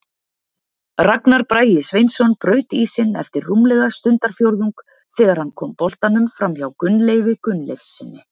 Ragnar Bragi Sveinsson braut ísinn eftir rúmlega stundarfjórðung þegar hann kom boltanum framhjá Gunnleifi Gunnleifssyni.